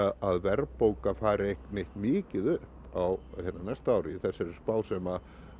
að verðbólga fari neitt mikið upp á næsta ári í þessari spá sem